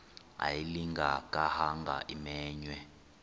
ayilinga gaahanga imenywe